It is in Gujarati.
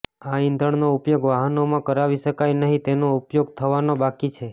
આ ઇંધણનો ઉપયોગ વાહનોમાં કરાવી શકાય નહીં તેનો ઉપયોગ થવાનો બાકી છે